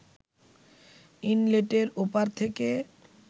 ইনলেটের ওপার থেকে